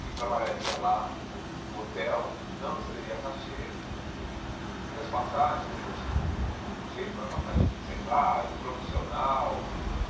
Que trabalharia lá no hotel, não receberia cachê e e as passagens, ele conseguiu um finan um jeito lá, a passagem de, sei lá, promocional.